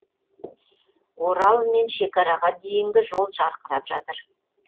орал мен шекараға дейінгі жол жарқырап жатыр